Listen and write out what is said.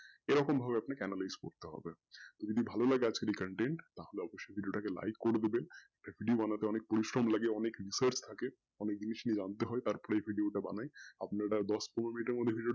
এরকম ভাবে আপনাকে analyse করতে হবে যদি ভালো লাগে আজকে এই content তাহলে অবশ্যেই এই video টাকে like করেদেবেন video বানাতে অনেক পরিশ্রম লাগে অনেকসমেই লাগে অনেক research লাগে অনেক জিনিস নিয়ে জানতে হয় তার পর এই video বানাই আপনারা দশ পনেরো minuite এর মর্ধে